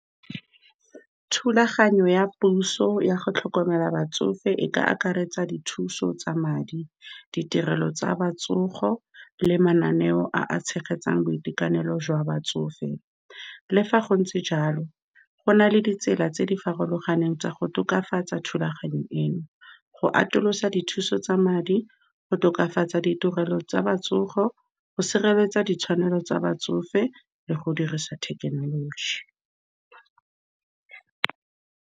Thulaganyo ya puso ya go tlhokomela batsofe e ka akaretsa dithuso tsa madi, ditirelo tsa botsogo, le mananeo a a tshegetsang boitekanelo jwa batsofe. Le fa go ntse jalo, go nale ditsela tse di farologaneng tsa go tokafatsa thulaganyo eno, go atolosa dithuso tsa madi, go tokafatsa ditirelo tsa botsogo, go sireletsa ditshwanelo tsa batsofe, le go dirisa thekenoloji.